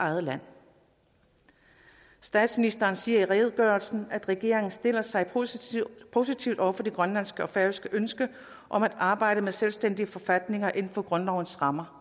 eget land statsministeren siger i redegørelsen at regeringen stiller sig positivt positivt over for det grønlandske og færøske ønske om at arbejde med selvstændige forfatninger inden for grundlovens rammer